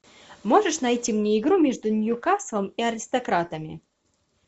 можешь найти мне игру между ньюкаслом и аристократами